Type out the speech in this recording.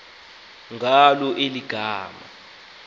ngalo eli gama